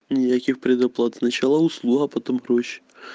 никаких предоплат сначала уснула потом проще